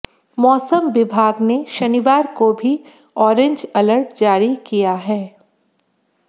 मौसम विभाग ने शनिवार को भी ऑरेंज अलर्ट जारी किया है